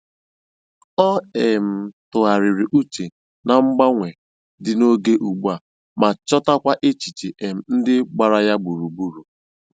Ọ um tụgharịrị uche na mgbanwe dị n'oge ugbu a ma chọtakwa echiche um ndị gbara ya gburugburu.